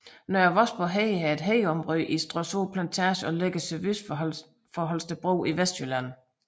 Nørre Vosborg Hede er et hedeområde i Stråsø Plantage og ligger sydvest for Holstebro i Vestjylland